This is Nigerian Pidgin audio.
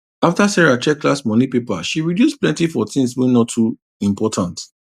after sarah check last month money paper she reduce plenty for things wey no too important